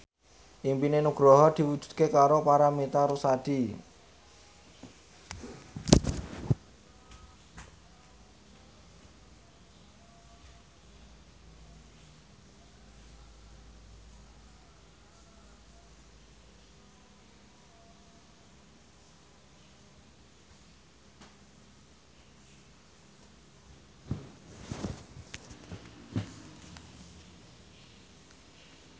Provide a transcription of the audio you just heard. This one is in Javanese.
impine Nugroho diwujudke karo Paramitha Rusady